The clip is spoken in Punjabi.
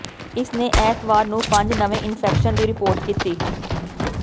ਇਸ ਨੇ ਐਤਵਾਰ ਨੂੰ ਪੰਜ ਨਵੇਂ ਇਨਫੈਕਸ਼ਨ ਦੀ ਰਿਪੋਰਟ ਕੀਤੀ